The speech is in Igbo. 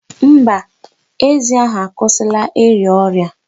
Mba, ezi ahu akwụsịla ịrịa ọrịa.